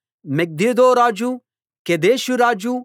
Megiddo రాజు Kedesh రాజు